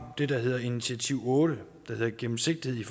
der hedder initiativ otte gennemsigtighed